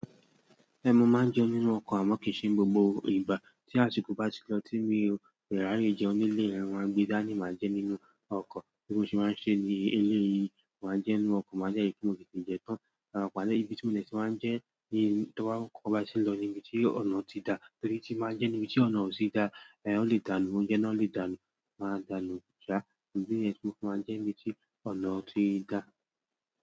Ẹ̀ mo máa ń jẹun nínú ọkọ̀ àmọ́ kì í ṣe gbogbo ìgbà. Tí àsìkò bá ti lọ tí mi ò dẹ ri áyé jẹun nílé mo máa gbé dání máa jẹ nínú ọkọ̀ bí mo ṣe máa ń ṣe ní eleyìí, máa jẹ nínú ọkọ̀ máà dẹ ripe mo tètè jẹ tán. Àpàlẹ́ ibi tí mo lè tíì máa ń jẹ ní tí ọkọ ba ti n lọ níbi tí ọ̀nà ti dá torí tí n báa ń jẹ níbi tí ọ̀nà ò ti dá. Ẹ̀hẹ̀ ó lè dànù, oúnjẹ náà ó lè dànù, máa dànù sa. Idí níyẹn tí mo fi máa ń jẹ ní ibi tí ọ̀nà ti dá.